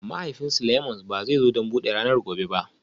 Mahaifin Seleimans ba zai zo don buɗe ranar gobe ba